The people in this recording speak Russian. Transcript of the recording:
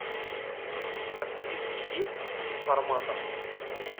у тебя в списке есть информатор